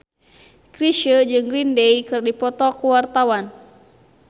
Chrisye jeung Green Day keur dipoto ku wartawan